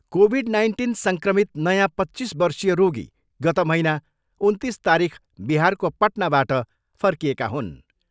Covid nineteen सङ्क्रमित नयाँ पच्चिस वर्षीय रोगी गत महिना उन्तिस तारिख बिहारको पटनाबाट फर्किएका हुन्।